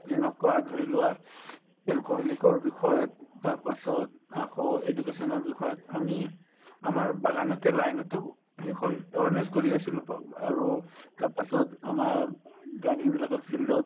যেনেকুৱা ধৰিলোৱা alcoholic ৰ বিষয়ত তাৰপাছত আকৌ education ৰ বিষয়ত আমি আমাৰ বাগানতে line তো সেইখন awareness কৰি আছিলো আৰু তাৰপাছত আমাৰ ও garden বিলাকৰ field ত